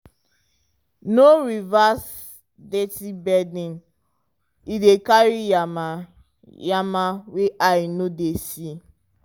no reverse dirty bedding e dey carry yama-yama wey eye no dey see.